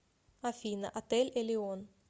афина отель элион